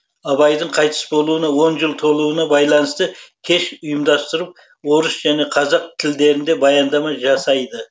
абайдың қайтыс болуына он жыл толуына байланысты кеш ұйымдастырып орыс және қазақ тілдерінде баяндама жасайды